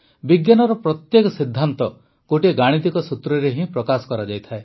ବିଜ୍ଞାନର ପ୍ରତ୍ୟେକ ସିଦ୍ଧାନ୍ତ ଗୋଟିଏ ଗାଣିତିକ ସୂତ୍ରରେ ହିଁ ପ୍ରକାଶ କରାଯାଇଥାଏ